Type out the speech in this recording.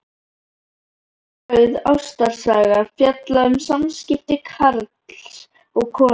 Þar er sögð ástarsaga, fjallað um samskipti karls og konu.